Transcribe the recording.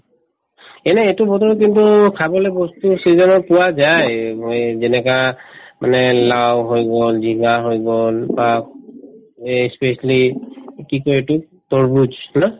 এনে এইটো বতৰত কিন্তু খাবলে বস্তু season ত পোৱা যায় অ এই যেনেকা মানে লাউ হৈ গল জিকা হৈ গল এই ই specially কি কই এইটো তৰমুজ না ?